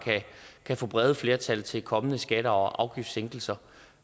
kan få brede flertal til kommende skatte og afgiftssænkelser